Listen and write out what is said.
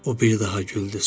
O bir daha güldü.